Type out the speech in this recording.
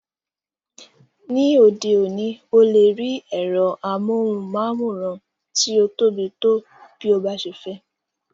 Ní òde òní,o lè rí ẹ̀rọ amóhùnmáwòrán tí o tóbi tó bí o bá ṣe fẹ́.